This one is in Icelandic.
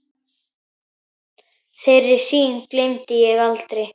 Þeirri sýn gleymi ég aldrei.